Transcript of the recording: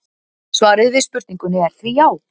svarið við spurningunni er því já!